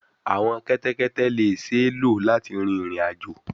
Awọn kẹtẹkẹtẹ le ṣee lo lati rin irin-ajo